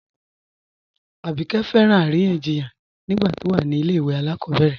Abíkẹ́ fẹ́ràn aríyànjíyàn nígbà tó wà ní ilẹ̀ ìwé alákobèrè